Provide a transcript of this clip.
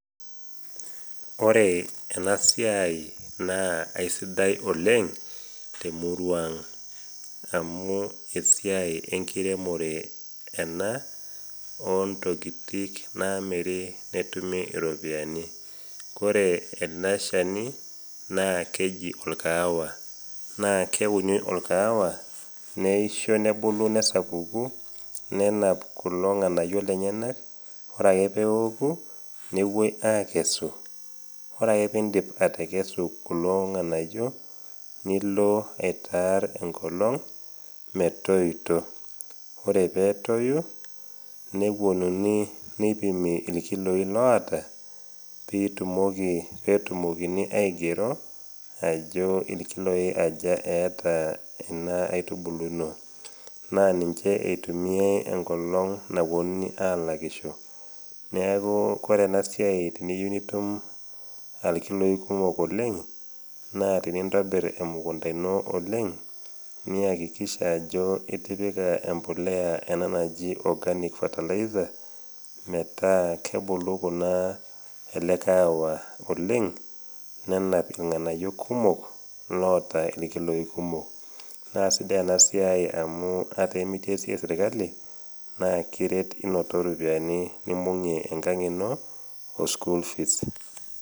Ore ena siai naa aisidai oleng temurua ang, amu esiai enkiremore ena o ntokitik naamiri netumi iropiani. Kore ele shani, naa keji olkahawa, naa keuni olkahawa neisho nebulu nesapuku, nenap kulo ng'anayio lenyena. Ore ake peoku, newuoi akesu, ore ake pee indip atekesu kulo ng'anayio, nilo aitaar enkolong, metoito. Ore pee etoyu, newuonuni neipimi ilkiloi loata, piitumoki, peetumokini aigero ajo ilkiloi aja eata ena aitubulu ino. Naa ninche eitumiai enkolong nawuonuni alakisho. Neaku ore ena siai teneiyeu nitum ilkiloi kumok oleng, naa teneintobir emukunda ino oleng, niakikisha ajo itipika embolea ena anji organic fertilizer metaa kubulu kunaa, ele kahawa oleng, nenap ilng'anayio kumok, loata ilkiloi kumok. Naa sidai ena siai amu ata imitii esiai e serkali naa kiret inoto iropiani nimbung'i enkang' ino o school fees.